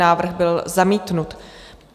Návrh byl zamítnut.